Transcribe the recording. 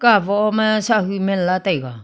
ka wo ma sa hu man la taiga.